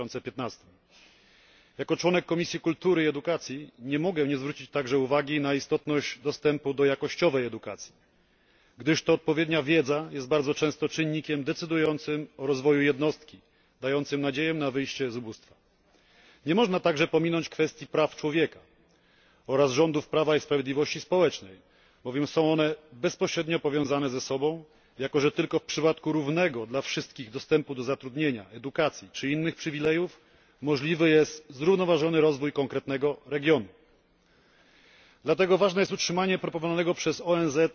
2015. Jako członek Komisji Kultury i Edukacji nie mogę nie zwrócić także uwagi na istotność dostępu do dobrej jakościowo edukacji, gdyż to odpowiednia wiedza jest bardzo często czynnikiem decydującym o rozwoju jednostki, dającym nadzieję na wyjście z ubóstwa. Nie można także pominąć kwestii praw człowieka oraz rządów prawa i sprawiedliwości społecznej, bowiem są one bezpośrednio powiązane ze sobą, jako że tylko w przypadku równego dla wszystkich dostępu do zatrudnienia, edukacji czy innych przywilejów możliwy jest zrównoważony rozwój konkretnego regionu. Dlatego ważne jest utrzymanie proponowanego przez ONZ